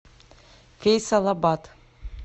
фейсалабад